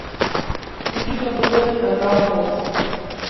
включи на тв канал фокс